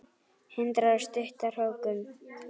Hindrar stutta hrókun.